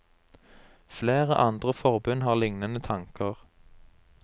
Flere andre forbund har lignende tanker.